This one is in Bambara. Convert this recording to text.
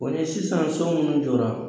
O ni sisan so munnu jɔra